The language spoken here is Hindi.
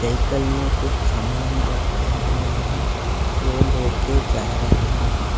साइकल में कुछ सामान रखे हुए हैं वो लेकर जा रहे हैं।